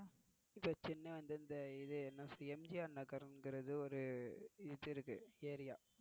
இப்போ சென்னை வந்து இந்த எம். ஜி. ஆர் நகர் இங்கிறது ஒரு இது இருக்கு ஏரியா.